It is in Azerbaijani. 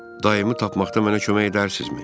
Daimi tapmaqda mənə kömək edərsinizmi?